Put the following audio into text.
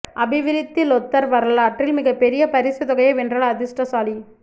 அபிவிருத்தி லொத்தர் வரலாற்றில் மிகப் பெரிய பரிசு தொகையை வென்ற அதிஷ்டசாலி